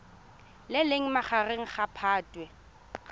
le leng magareng ga phatwe